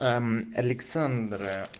а мм александра